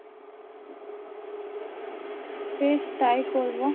বেশ তাই করবো,